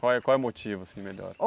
Qual é qual é o motivo, assim, melhor?